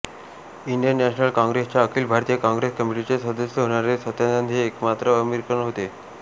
Indian national काँग्रेसच्या अखिल भारतीय काँग्रेस कमेटीचे सदस्य होण्यारे सत्यानंद हे एकमात्र अमेरिकन होते